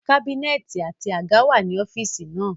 Kábínẹ̀tì àti àga wà nínú ọ́fíìsì náà